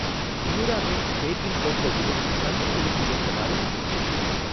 பியூராமேட் baking cocoa விலை, சந்தை விலைக்கு ஏற்றவாறு இல்லை.